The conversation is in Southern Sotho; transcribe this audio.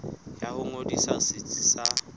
ya ho ngodisa setsi sa